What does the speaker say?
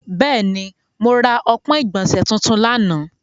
Bẹẹni, mo ra ọpọn igbọnse tuntun lana.